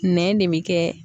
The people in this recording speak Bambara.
Nɛn de bɛ kɛ